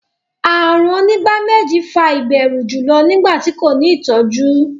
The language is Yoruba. àrùn onígbáméjì fà ìbẹrù julọ nigbati ko ni itọju.